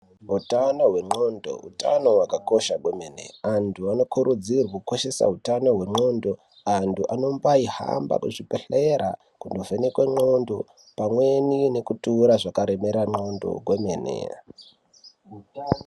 Utano hwendxondo hutano hwakakosha kwemene antu anokuridzirwe kukoshesa hutano hwendxondo antu anombayihamba kuzvibhedhlera kuno vhenekwa ndxondo pamwe nekutura zvaremera ndxondo kwemene.